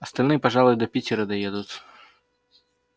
остальные пожалуй до питера доедут